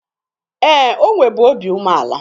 Ee, o nwebu obi umeala.